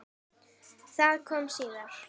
Það kom síðar.